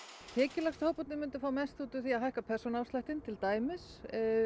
tekjulægstu hóparnir myndu fá mest út úr því að hækka persónuafsláttinn til dæmis